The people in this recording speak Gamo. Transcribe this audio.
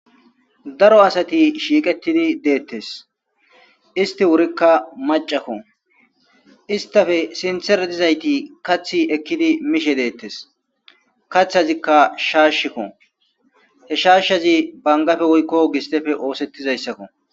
Daro asati shiqetidi detes histi wurika mac'c'ako histape sintera dizayti Kathe ekidi mishe detes katazika shashaka he shashazi bangape woyko gistepe osetizaysako.